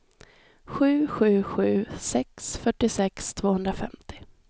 sju sju sju sex fyrtiosex tvåhundrafemtio